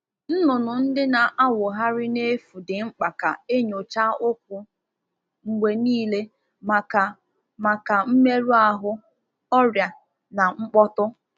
Anụ ọkụkọ na-efụ efu chọrọ nnyocha ụkwụ ugboro ugboro maka mmerụ, nje, na mmetọ.